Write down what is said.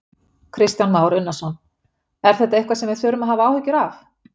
Kristján Már Unnarsson: Er þetta eitthvað sem við þurfum að hafa áhyggjur af?